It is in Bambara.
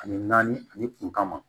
Ani naani ani kuntama